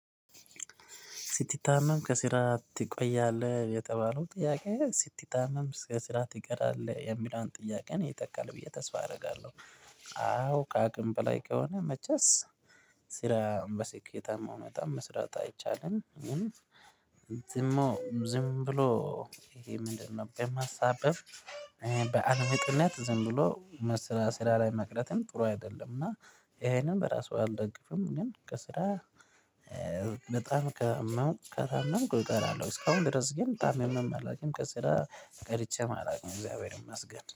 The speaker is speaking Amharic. ሲቲ ታመም ከስራ ትቆያለህ የተባለው ጥያቄ ሲቲ ታመም ከስራ ትቀራለህ የሚለውን ጥያቄ ነው የተካል ብዬ ተስፋ አደርጋለሁ። አዎ ከአቅም በላይ ከሆነ መቼስ ስራን በስኬታማ መጠን መስራት አይቻልም። ዝም ዝም ብሎ ይሄ ምንድነው? በማሳበብ በዓል ምጥነት ዝም ብሎ ስራ ስራ ላይ መቅረትም ጥሩ አይደለም። እና ይሄንም በራሱ አልደግፍም። ግን ከስራ በጣም ከታመምኩ እቀራለሁ እስካሁን ድረስ ግን ታምሜም አላቅም ከስራ ቀርቼም አላቅም እግዚአብሔርን መስገድ